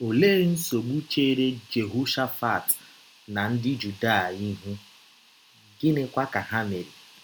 Ọlee nsọgbụ chere Jehọshafat na ndị Juda ihụ, gịnịkwa ka ha mere?